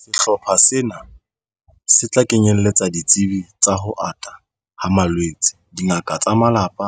Sehlopha sena se tla kenyeletsa ditsebi tsa ho ata ha malwetse, dingaka tsa malapa,